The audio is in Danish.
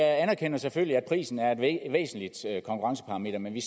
jeg anerkender selvfølgelig at prisen er et væsentligt konkurrenceparameter men vi